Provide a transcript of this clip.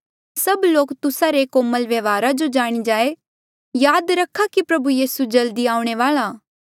सभ लोक तुस्सा रे कोमल व्यवहार जो जाणी जाए याद रखा कि प्रभु यीसू जल्दी आऊणें वाल्आ आ